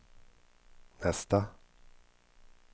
nästa